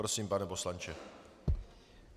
Prosím, pane poslanče.